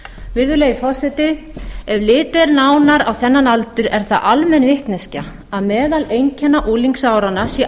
virðulegi forseti ef litið er nánar á þennan aldur er það almenn vitneskja að meðal einkenna unglingsáranna sé